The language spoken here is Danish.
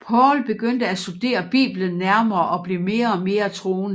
Paul begyndte at studere Bibelen nærmere og blev mere og mere troende